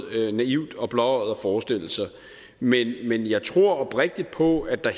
naivt og blåøjet at forestille sig men men jeg tror oprigtigt på at der